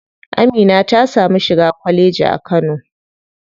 Amina ta samu shiga kwalleji a kano.